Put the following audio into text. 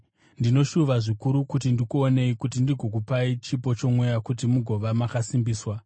Ndinoshuva zvikuru kuti ndikuonei kuti ndigokupai chipo chomweya kuti mugova makasimbiswa,